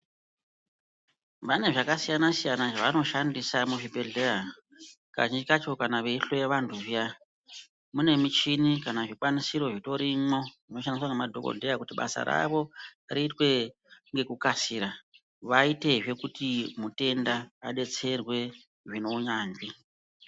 Vane zvakasiyana-siyana zvavanoshandisa muzvibhedhleya kazhinji kacho kana veihloya vantu zviya. Mune michini kana zvikwanisiro zvitorimho zvinoshandiswa ngemadhogodhleya kuti basa ravo riitwe ngekukasira, vaitezve kuti mutenda abetserwe zvineunyanzvi.